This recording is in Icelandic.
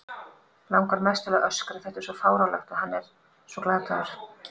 Langar mest til að öskra, þetta er svo fáránlegt og hann svo glataður.